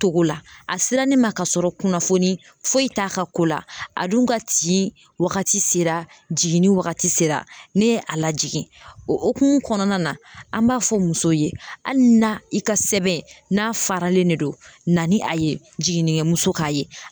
Cogo la a sera ne ma ka sɔrɔ kunnafoni foyi t'a ka ko la, a dun ka tin wagati sera jiginni wagati sera, ne ye a lajigin, o hokumu kɔnɔna na, an b'a fɔ musow ye hali na i ka sɛbɛn n'a faralen ne don na ni a ye jiginnikɛmuso k'a ye .